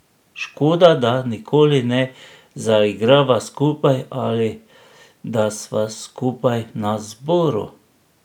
Škoda, da nikoli ne zaigrava skupaj ali da sva skupaj na zboru.